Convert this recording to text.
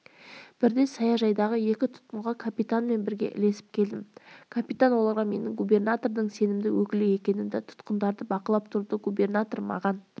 бірде саяжайдағы екі тұтқынға капитанмен бірге ілесіп келдім капитан оларға менің губернатордың сенімді өкілі екенімді тұтқындарды бақылап тұруды губернатор маған